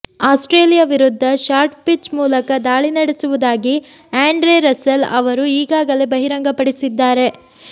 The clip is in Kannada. ಆಸ್ಟ್ರೇಲಿಯಾ ವಿರುದ್ಧ ಶಾರ್ಟ್ ಪಿಚ್ ಮೂಲಕ ದಾಳಿ ನಡೆಸುವುದಾಗಿ ಆ್ಯಂಡ್ರೆ ರಸೆಲ್ ಅವರು ಈಗಾಗಲೇ ಬಹಿರಂಗ ಪಡಿಸಿದ್ದಾರೆ